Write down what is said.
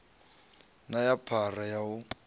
na na phara ya u